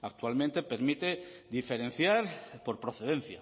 actualmente permite diferenciar por procedencia